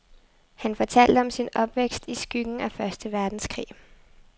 Han fortalte om sin opvækst i skyggen af første verdenskrig.